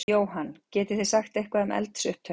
Jóhann: Getið þið sagt eitthvað um eldsupptök?